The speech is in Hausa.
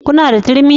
Kuna da turmi?